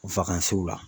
la